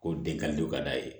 Ko den ka di o ka d'a ye